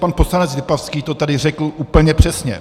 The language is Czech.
Pan poslanec Lipavský to tady řekl úplně přesně.